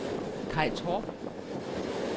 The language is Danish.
Kaj Torp